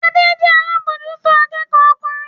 Adé jẹ́ alábòójútó akẹ́kọ̀ọ́ ọkùnrin